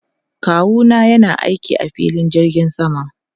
Kawu na yana aiki a filin jirgin sama.